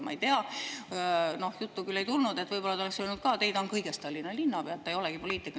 Ma ei tea, sellest juttu küll ei tulnud, aga võib-olla oleks öelnud ka: "Ei, ta on kõigest Tallinna linnapea, ta ei olegi poliitik.